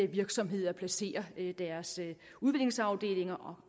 virksomheder placerer deres udviklingsafdelinger og